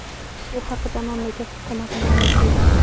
Bu haqda mamlakat hukumati ma’lum qildi .